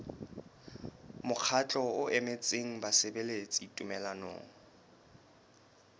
mokgatlo o emetseng basebeletsi tumellanong